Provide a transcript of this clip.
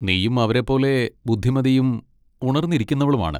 നീയും അവരെപ്പോലെ ബുദ്ധിമതിയും ഉണർന്നിരിക്കുന്നവളുമാണ്.